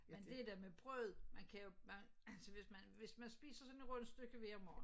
Men det der med brødet man kan jo man altså hvis man hvis man spiser sådan et rundstykke hver morgen